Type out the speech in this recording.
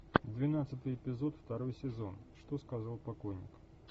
двенадцатый эпизод второй сезон что сказал покойник